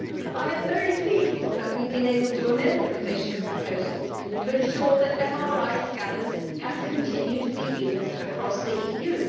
I am very pleased that we have been able to amend the Commission's proposals to ensure that MRI scanners can continue to be used across the EU.